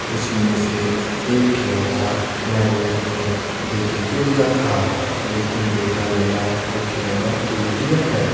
उसी में से एक खिलौना मैंने अपने बेटे को दिया था लेकिन बेटा मेरा वह खिलौना तोड़ दिया है।